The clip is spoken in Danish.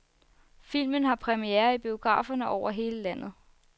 Filmen har premiere i biograferne over hele landet.